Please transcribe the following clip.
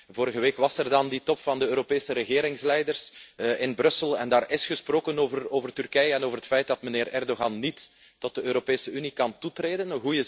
Vorige week was er dan die top van de Europese regeringsleiders in Brussel en daar is gesproken over Turkije en over het feit dat meneer Erdoğan niet tot de Europese Unie kan toetreden.